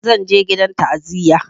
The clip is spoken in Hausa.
Zan je gidan ta'aziyar gobe